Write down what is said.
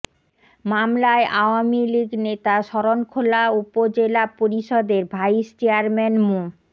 মামলায় আওয়ামী লীগ নেতা শরণখোলা উপজেলা পরিষদের ভাইস চেয়ারম্যান মো